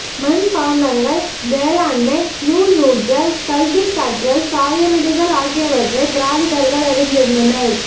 மண்பாட்டங்கள் வேளாண்மை நூல் நூற்றல் கல்வி கற்றல் சாயமிடுதல் ஆகியவற்றை திராவிடர்கள் அறிந்திருந்தனர்